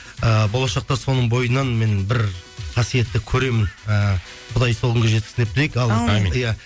ііі болашақта соның бойынан мен бір қасиетті көремін ііі құдай сол күнге жеткізсін деп тілейік иә